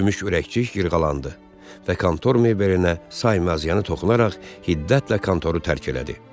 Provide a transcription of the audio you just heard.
Gümüş ürəkcik yırğalandı və kontor mebelinə saymazıyana toxunaraq hiddətlə kontoru tərk elədi.